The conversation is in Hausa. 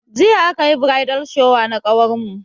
Jiya akayi "bridal shower"na ƙawarmu.